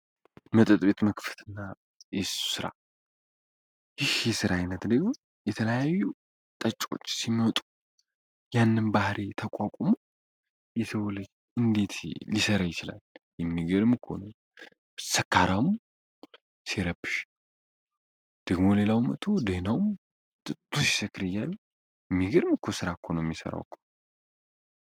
መጠጥ ቤት መክፈትና መስራት ይህ የስራ አይነት ደግሞ ጠጪዎች ሲመጡ ያንን ባህሪ ተቋቁሞ እንዴት የሰው ልጅ ሊሰራ ይችላል ሰካራሙ ሲረብሽ ደግሞ ደግሞ ሌላው ሲመለከት የሚገርመው ስራ ነው እኮ የሚሰረው።